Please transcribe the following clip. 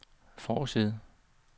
forside